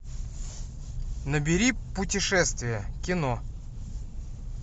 набери путешествие кино